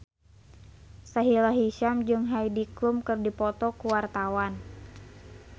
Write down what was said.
Sahila Hisyam jeung Heidi Klum keur dipoto ku wartawan